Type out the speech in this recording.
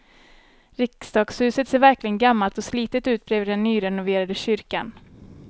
Riksdagshuset ser verkligen gammalt och slitet ut bredvid den nyrenoverade kyrkan.